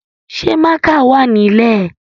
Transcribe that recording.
Ṣé mákà wà nílè?